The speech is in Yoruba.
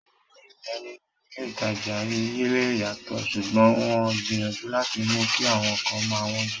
Àwọn Iye nínú ilé ìtajà lè yàtọ̀, ṣùgbọ́n wọ́n ń gbìyànjú láti mú kí àwọn nǹkan má wọn jù